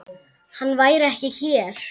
Hann væri ekki hér.